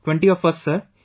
20 of us Sir